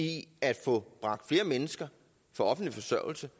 i at få bragt flere mennesker fra offentlig forsørgelse